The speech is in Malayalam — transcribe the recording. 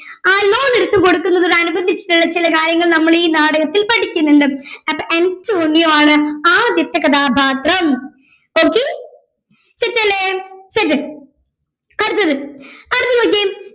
ആ loan എടുത്തു കൊടുക്കുന്നത് കാണുമ്പോൾ കാര്യങ്ങൾ നമ്മളീ നാടകത്തിൽ പഠിക്കുന്നുണ്ട് അപ്പൊ അന്റോണിയോ ആണ് ആദ്യത്തെ കഥാപാത്രം okay set അല്ലെ set അടുത്തത് അടുത്ത നോക്കിയേ